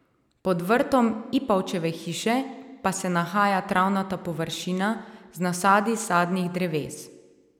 Pod vrtom Ipavčeve hiše pa se nahaja travnata površina z nasadi sadnih dreves.